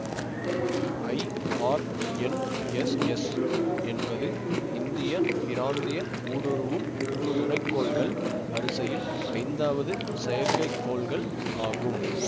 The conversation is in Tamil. ஐஆர்என்எஸ்எஸ் என்பது இந்திய பிராந்திய ஊடுருவும் துணை கோள்கள் வரிசையில் ஐந்தாவது செயற்கைக்கோள்கள் ஆகும்